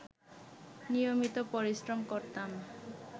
নিয়মিত পরিশ্রম করতাম